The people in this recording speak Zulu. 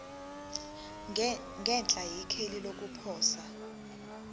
ngenhla ikheli lokuposa